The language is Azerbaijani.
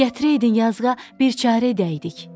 Gətirəydin yazığa bir çarə edəydik.